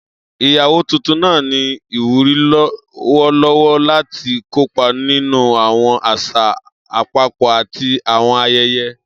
Iyawo tuntun naa ni iwuri lọwọlọwọ lati kopa ninu awọn aṣa apapọ ati awọn ayẹyẹ.